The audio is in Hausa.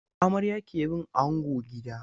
Amarya ke bin ango gida.